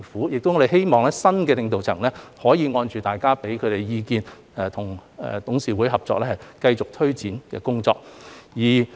我們希望新的領導層可以按照大家的意見，跟董事會合作，繼續推展工作。